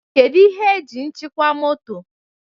Kedu ihe eji njikwa moto?